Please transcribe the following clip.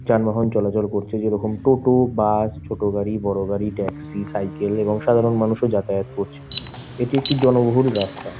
যানবাহন চলাচল করছে যেরকম টোটো বাস ছোট গাড়ি বড় গাড়ি ট্যাক্সি সাইকেল এবং সাধারন মানুষও যাতায়াত করছে এটি জনবহুল একটি রাস্তা।